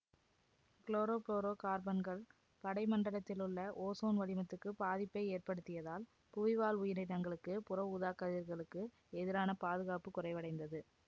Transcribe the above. chloro புளோரோ கார்பன்கள் படை மண்டலத்திலுள்ள ஓசோன் வளிமத்துக்குப் பாதிப்பை ஏற்படுத்தியதால் புவி வாழ் உயிரினங்களுக்கு புற ஊதாக்கதிர்களுக்கு எதிரான பாதுகாப்பு குறைவடைந்தது